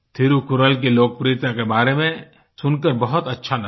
थिरुकुरल की लोकप्रियता के बारे में सुनकर बहुत अच्छा लगा